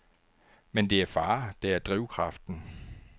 Men det er far, der er drivkraften.